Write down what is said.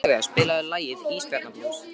Oktavía, spilaðu lagið „Ísbjarnarblús“.